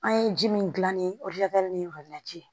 An ye ji min gilan ni ni